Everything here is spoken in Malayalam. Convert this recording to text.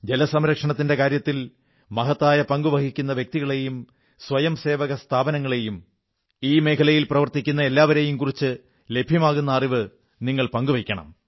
ജലസംരക്ഷണകാര്യത്തിൽ മഹത്തായ പങ്കു വഹിക്കുന്ന വ്യക്തികളെയും സ്വയംസേവക സ്ഥാപനങ്ങളെയും ഈ മേഖലയിൽ പ്രവർത്തിക്കുന്ന എല്ലാവരെയും കുറിച്ച് ലഭ്യമാകുന്ന അറിവ് നിങ്ങൾ പങ്കു വയ്ക്കണം